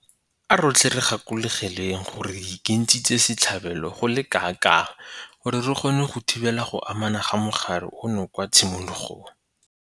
A rotlhe re gakologelweng gore re ikentshitse setlhabelo go le kanakang gore re kgone go thibela go anama ga mogare ono kwa tshimologong.